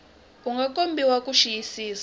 u nga komberiwa ku xiyisisisa